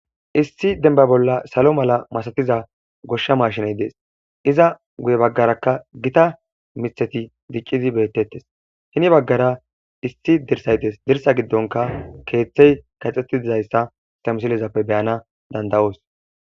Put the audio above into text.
Issi denba bolla salo mala masatiza goshsha mashiney dees iza guye baggarakka gita mitheti diqqidi beettettes hini baggara issi dirsaytes dirsa giddonka keeththey kaxxettidizayssa istamisilezappe beyana danda'oos.